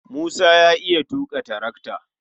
Musa ya iya tuƙa tarakata.